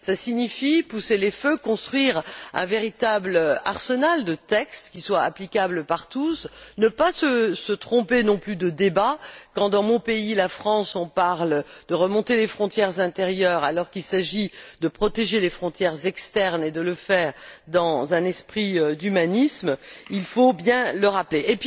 Pousser les feux, cela signifie construire un véritable arsenal de textes qui soient applicables par tous, et ne pas se tromper non plus de débat, comme lorsque dans mon pays, la France, on parle de remonter les frontières intérieures alors qu'il s'agit de protéger les frontières externes et de le faire dans un esprit d'humanisme, il faut bien le rappeler.